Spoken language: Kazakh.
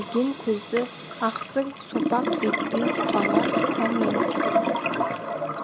үлкен көзді ақсұр сопақ беттеу бала сәменов